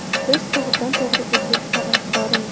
Biz to‘g‘ridan-to‘g‘ri efir tarafdorimiz.